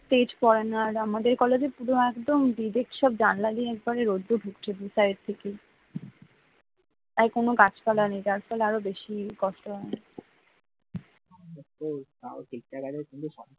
তেজ পরেনা আর আমাদের একদম কলেজে একদম পুরো direct রোদ্দুর ধুকছে। দু side থেকে আর কোন গাছপালা নেই যার ফলে আরো বেশি কষ্ট হয়